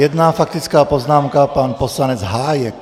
Jedna faktická poznámka, pan poslanec Hájek.